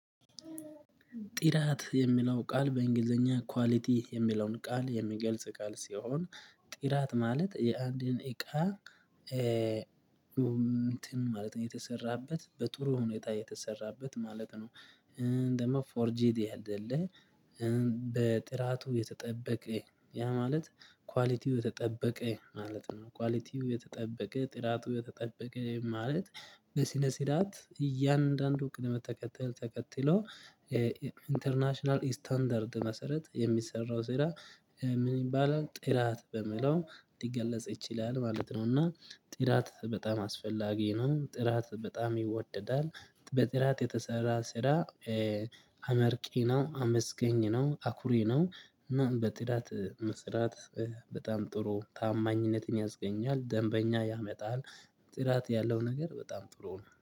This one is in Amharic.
ጥራት የሚለው ቃል በእንግሊዘኛ ኳሊቲ የሚለውን ቃል የሚገልጽ ቃል ሲሆን። ጥራት ማለት የአንድን እቃ እንትን ማለት ነው የተሰራበት በጥሩ ሁኔታ የተሰራበት ማለት ነው። ደግሞ ፎርጂድ አይደለም። በጥራቱ የተጠበቀ ያ ማለት ኳሊቲው የተጠበቀ ማለት ነው ኳሊቲው የተጠበቀ ጥራቱ የተጠበቀ ማለት። በስነ ስራት እያንዳንዱ ቅድመ ተከተል ተከትሎ ኢንተርናሽናል ስታንዳርድ መሰረት የሚሰራው ስራ። ምን ይባላል ጥራት በምለው ሊገለጽ ይችላል ማለት ነው። እና ጥራት በጣም አስፈላጊ ነው። ጥራት በጣም ይወደዳል በጥራት የተሰራ ስራ። አመርቂ ነው አመስገኝ ነው አኩሬ ነው። በጥራት መስራት በጣም ጥሩ ታማኝነትን ያስገኛል ደንበኛ ያመጣል። ጥራት ያለው ነገር በጣም ጥሩ ነው